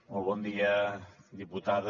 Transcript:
molt bon dia diputada